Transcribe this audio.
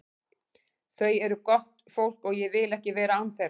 Þau eru gott fólk og ég vil ekki vera án þeirra.